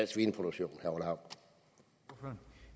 svineproduktion